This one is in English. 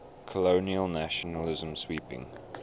colonial nationalism sweeping